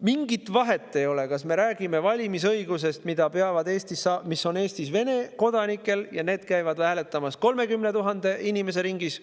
Mingit vahet ei ole, kas me räägime valimisõigusest, mis on Eestis Vene kodanikel, kellest eelmistel kohalikel valimistel käis hääletamas 30 000 inimese ringis,